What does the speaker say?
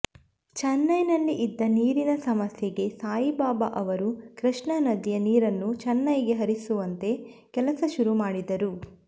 ಚೆನೈನಲ್ಲಿ ಇದ್ದ ನೀರಿನ ಸಮಸ್ಯೆಗೆ ಸಾಯಿಬಾಬಾ ಅವರು ಕೃಷ್ಣ ನದಿಯ ನೀರನ್ನು ಚೆನೈಗೆ ಹರಿಸುವಂತೆ ಕೆಲಸ ಶುರು ಮಾಡಿದರು